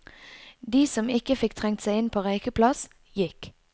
De som ikke fikk trengt seg inn på røykeplass, gikk.